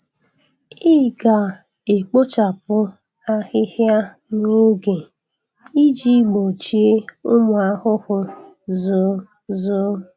Ị ga-ekpochapụ ahịhịa n'oge iji gbochie ụmụ ahụhụ zoo. zoo.